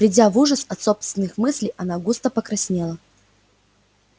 придя в ужас от собственных мыслей она густо покраснела